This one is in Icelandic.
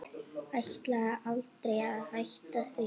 Ætlaði aldrei að hætta því.